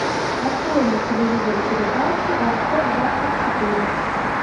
открой на телевизоре передачу авто двадцать четыре